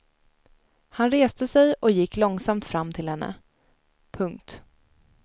Han reste sig och gick långsamt fram till henne. punkt